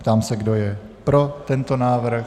Ptám se, kdo je pro tento návrh.